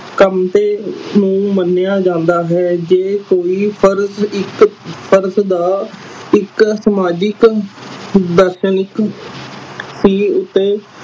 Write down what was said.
ਕੰਮ ਤੇ ਮੂਲ ਮੰਨਿਆ ਜਾਂਦਾ ਹੈ ਜੇ ਕੋਈ ਫਰਜ ਇਕ ਫਰਜ ਦਾ ਇਕ ਸਮਾਜਿਕ ਉੱਤੇ